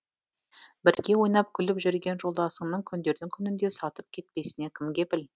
бірге ойнап күліп жүрген жолдасыңның күндердің күнінде сатып кетпесіне кім кепіл